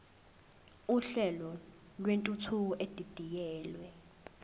uhlelo lwentuthuko edidiyelwe